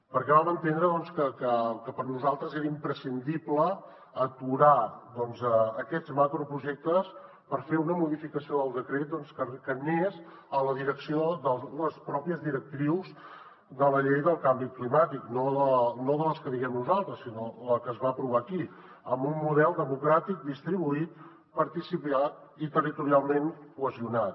perquè vam entendre que per nosaltres era imprescindible aturar aquests macroprojectes per fer una modificació del decret que anés en la direcció de les pròpies directrius de la llei del canvi climàtic no de les que diguem nosaltres sinó la que es va aprovar aquí amb un model democràtic distribuït participat i territorialment cohesionat